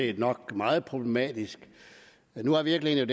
det nok meget problematisk men nu er virkeligheden